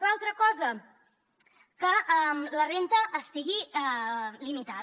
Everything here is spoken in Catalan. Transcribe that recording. l’altra cosa que la renda estigui limitada